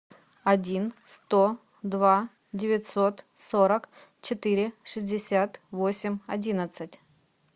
один сто два девятьсот сорок четыре шестьдесят восемь одиннадцать